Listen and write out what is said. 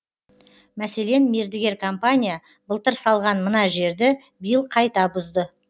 мәселен мердігер компания былтыр салған мына жерді биыл қайта бұзды